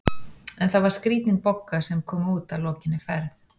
En það var skrítin Bogga sem kom út að lokinni ferð.